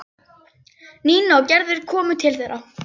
Nína og Gerður komu til þeirra.